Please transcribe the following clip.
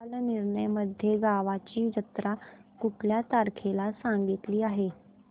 कालनिर्णय मध्ये गावाची जत्रा कुठल्या तारखेला सांगितली आहे